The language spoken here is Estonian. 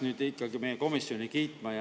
Me peaksime ikkagi meie komisjoni kiitma.